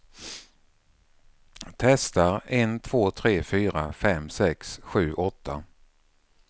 Testar en två tre fyra fem sex sju åtta.